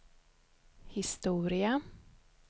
historia